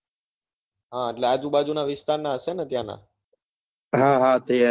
હા એટલે આજુબાજુ નાં વિસ્તાર ના હશે ને ત્યાં ન